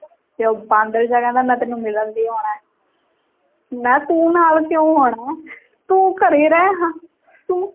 ਇਹ ਉਹ ਬਾਂਦਰ ਜਿਹਾ ਕਹਿੰਦਾ ਮੈਂ ਤੈਨੂੰ ਮਿਲਣ ਦੇ ਲਈ ਆਉਣਾ ਹੈ ਮੈਂ ਕਿਹਾ ਤੂੰ ਨਾਲ ਕਿਉਂ ਆਉਣਾ ਹੈ ਤੂੰ ਘਰੇ ਰਹੇ ਹਾਂ ਤੂੰ